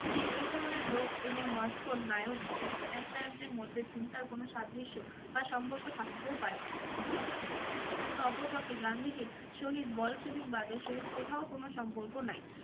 যে এই ধরনের লোক এবং মস্কোর নায়ক এক এক নায়কদের মধ্যে চিন্তার কোন সাদৃশ্য বা সম্পর্ক থাকিতেও পারে। কিন্তু অপরপক্ষে গান্ধীজীর সহিত বলসেবিক বাদের সহিত কোথাও কোন সম্পর্ক নাই।